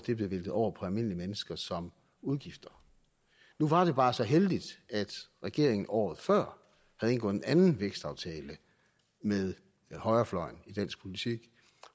væltet over på almindelige mennesker som udgifter nu var det bare så heldigt at regeringen året før havde indgået en anden vækstaftale med højrefløjen i dansk politik